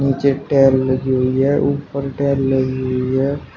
नीचे टाइल लगी हुई है उपर टाइल लगी हुई है।